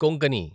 Konkani